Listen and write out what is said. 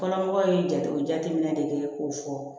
Kɔnɔmɔgɔw ye jateminɛ de kɛ k'o fɔ